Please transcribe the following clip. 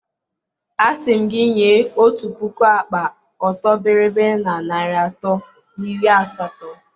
A sị m gị nye otu puku akpa ọtọ bịrịbịrị na narị atọ na iri asatọ